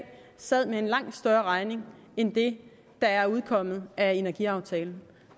sad med en langt større regning end det der er udkommet af energiaftalen